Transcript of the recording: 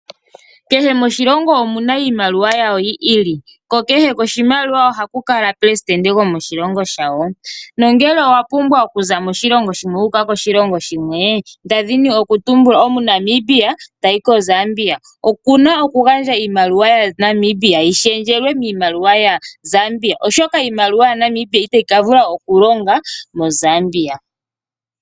Kehe moshilongo omuna imaliwa yawo yiili. Ko kehe oshimaliwa oha ku kala presitende gwokoshilongo shawo. No ngele owa pumbwa oku za moshilongo shimwe wu uka koshilongo oshikawo, nda dhini oku tumbula omuNamibia tayi koZambia oku na oku gandja iimaliwa yaNamibia yi shendjelwe miimaliwa yaZambia, oshoka iimaliwa ya Namibia itayi ka vula oku longa moZambia.